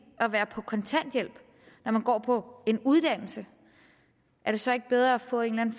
at være på kontanthjælp når man går på en uddannelse er det så ikke bedre at få en